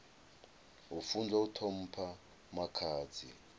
a funzwa u ṱhompha makhadzi